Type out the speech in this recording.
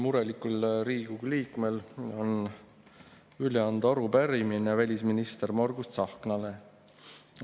Murelikul Riigikogu liikmel on üle anda arupärimine välisminister Margus Tsahknale.